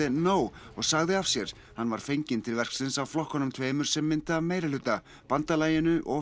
nóg og sagði af sér hann var fenginn til verksins af flokkunum tveimur sem mynda meirihluta bandalaginu og